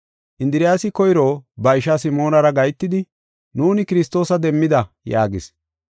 Indiriyasi koyro ba ishaa Simoonara gahetidi, “Nuuni Kiristoosa demmida” yaagis.